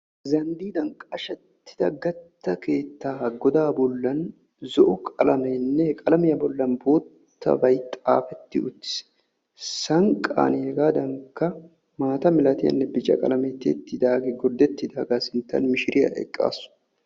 Zanddiidan qashettida gatta keettaa godaa bollan zo'o qalameenne qalamiya bollan boottabay xaafetti uttiis. Sanqqan hegaadankka maata milatiyanne bica qalamee tiyettidaagee gorddettidaagaa sinttan mishiriya eqqaasu.